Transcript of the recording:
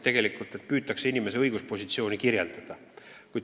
Tuleb püüda inimesele tema õiguspositsiooni kirjeldada.